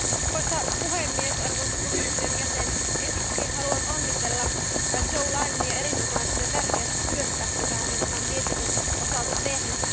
Arvoisa puhemies, arvoisa komission jäsen, ensiksikin haluan onnitella Jo Leinenia erinomaisesta ja tärkeästä työstä, jota hän on tämän mietinnön osalta tehnyt.